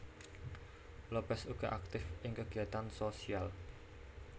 Lopez uga aktif ing kegiatan sosial